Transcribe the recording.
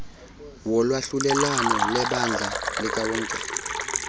wolwahlulelwano lebandla likawonke